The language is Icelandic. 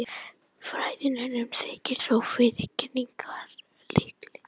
Fræðimönnum þykir þó fyrri kenningin líklegri.